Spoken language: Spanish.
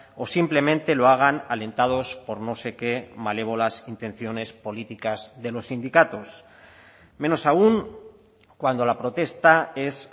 o simplemente lo hagan alentados por no sé qué malévolas intenciones políticas de los sindicatos menos aun cuando la protesta es